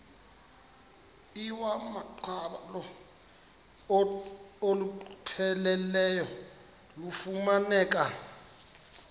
iwamaqhalo olupheleleyo lufumaneka